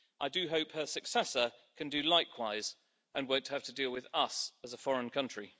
I do hope her successor can do likewise and won't have to deal with us as a foreign country.